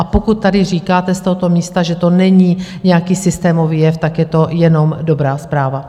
A pokud tady říkáte z tohoto místa, že to není nějaký systémový jev, tak je to jenom dobrá zpráva.